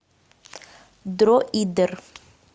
дроидер